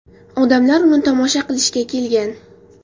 Odamlar uni tomosha qilishga kelgan.